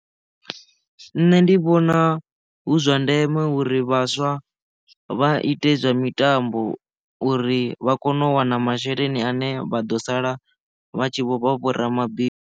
Nṋe ndi vhona hu zwa ndeme uri vhaswa vha ite zwa mitambo uri vha kone u wana masheleni ane vha ḓo sala vha tshi vho vha vho ramabindu.